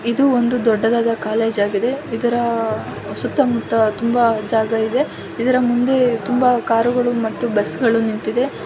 ಇದು ಒಂದು ದೊಡ್ಡದಾದ ಕಾಲೇಜ್ ಆಗಿದೆ ಇದರ ಸುತ್ತಮುತ್ತ ತುಂಬಾ ಜಾಗ ಇದೆ ಇದರ ಮುಂದೆ ತುಂಬಾ ಕಾರುಗಳು ಮತ್ತು ಬಸ್ಸುಗಳು ನಿಂತಿದೆ.